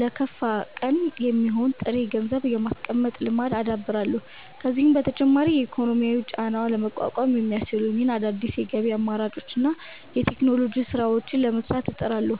ለከፋ ቀን የሚሆን ጥሬ ገንዘብ የማስቀመጥ ልማድን አዳብራለሁ። ከዚህም በተጨማሪ የኢኮኖሚ ጫናውን ለመቋቋም የሚያስችሉኝን አዳዲስ የገቢ አማራጮችንና የቴክኖሎጂ ስራዎችን ለመስራት እጥራለሁ።